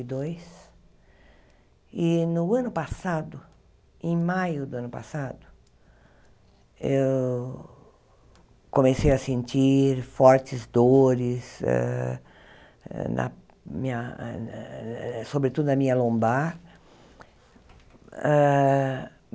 Dois e no ano passado, em maio do ano passado, eu comecei a sentir fortes dores hã, na minha sobretudo na minha lombar. Hã